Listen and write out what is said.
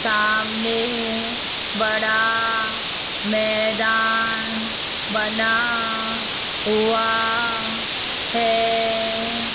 सामने बड़ा मैदान बना हुआ है।